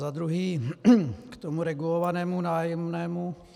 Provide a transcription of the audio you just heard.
Za druhé k tomu regulovanému nájemnému.